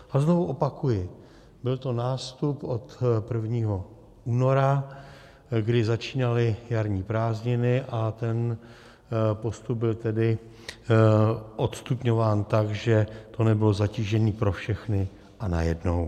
A znovu opakuji: byl to nástup od 1. února, kdy začínaly jarní prázdniny, a ten postup byl tedy odstupňován tak, že to nebylo zatížení pro všechny a najednou.